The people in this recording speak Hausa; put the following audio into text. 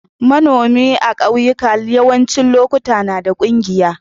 Manomi a'kauyuka yawancin lokatai na da kungiyar.